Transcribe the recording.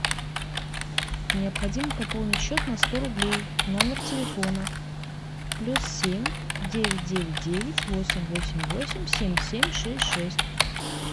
необходимо пополнить счет на сто рублей номер телефона плюс семь девять девять девять восемь восемь восемь семь семь шесть шесть